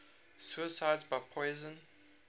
suicides by poison